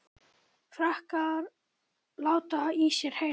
Frakkar láta í sér heyra